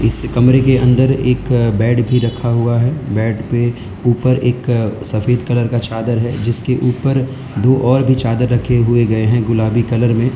इस कमरे के अंदर एक बेड भी रखा हुआ है बेड पे ऊपर एक सफेद कलर का चादर है जिसके ऊपर दो और भी चादर रखे हुए गए हैं गुलाबी कलर में।